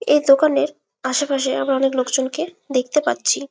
এই দোকানের আসে পাশে অনেক লোক জনকে দেখতে পাচ্ছি।